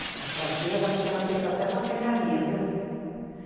É, as carteiras acho que eram feitas até na serraria, viu?